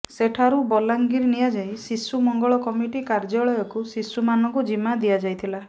ସେଠାରୁ ବଲାଙ୍ଗିର ନିଆଯାଇ ଶିଶୁ ମଙ୍ଗଳ କମିଟି କାର୍ଯ୍ୟାଳୟକୁ ଶିଶୁମାନଙ୍କୁ ଜିମା ଦିଆଯାଇଥିଲା